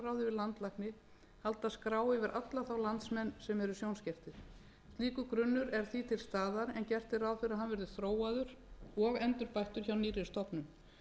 landlækni halda skrá yfir alla þá landsmenn sem eru sjónskertir slíkur grunnur er því til staðar en gera verður ráð fyrir að hann verði þróaður og endurbættur hjá nýrri stofnun